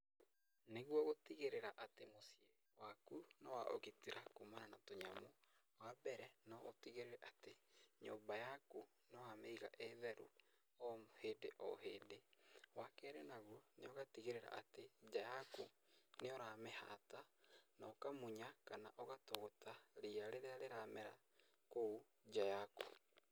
Nĩguo gũtigĩrĩra atĩ mũciĩ waku nĩ wa ũgitĩra kumana na tũ nyamũ, wa mbere no ũtigĩrĩre atĩ nyumba yaku nĩwamĩiga ĩ theru o hĩndĩ o hĩndĩ. Wa kerĩ naguo, nĩ ũgatigĩrĩra atĩ nja yaku nĩũramĩhata na ũkamunya kana ũgatũgũta ria rĩrĩa rĩramera kũu nja yaku.